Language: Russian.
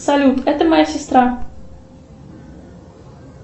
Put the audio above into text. салют это моя сестра